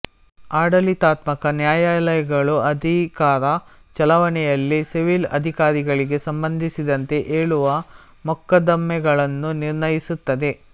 ಆಡಳಿತಾತ್ಮಕ ನ್ಯಾಯಾಲಯಗಳು ಅಧಿಕಾರ ಚಲಾವಣೆಯಲ್ಲಿ ಸಿವಿಲ್ ಅಧಿಕಾರಿಗಳಿಗೆ ಸಂಬಂಧಿಸಿದಂತೆ ಏಳುವ ಮೊಕದ್ದಮೆಗಳನ್ನು ನಿರ್ಣಯಿಸುತ್ತದೆ